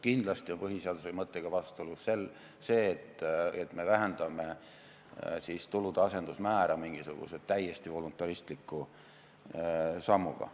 Kindlasti on põhiseaduse mõttega vastuolus ka see, et me vähendame tulude asenduse määra mingisuguse täiesti voluntaristliku sammuga.